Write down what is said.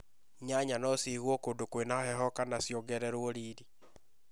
Nyanya no cigũo kũndũ kwĩna heho kana ciongererwo riri